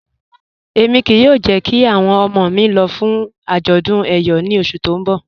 Ẹ̀mi kíí yóò jẹ̀ kí awọn ọmọ mi lọ̀ fún ajọ̀dún Eyọ̀ ní ọṣù tí n bọ̀